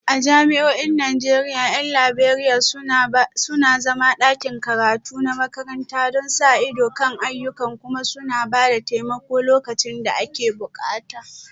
A jami'o'in Najeriya 'yan Liberiya suna zama a ɗakin karatu na makaranta don sa ido kan ayyukan kuma suna ba da taimako lokacin da ake bukata